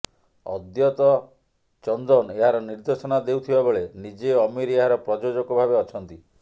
ଅଦ୍ୱତ ଚନ୍ଦନ ଏହାର ନିର୍ଦ୍ଦେଶନା ଦେଉଥିବାବେଳେ ନିଜେ ଅମୀର୍ ଏହାର ପ୍ରଯୋଜକ ଭାବେ ଅଛନ୍ତି